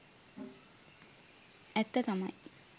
ඇත්ත තමයි.